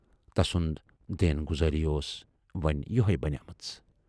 تَسُند دٮ۪ن گُذٲری ٲس وۅنۍ یِہےَ بنے مٕژ۔